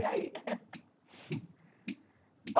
E aí?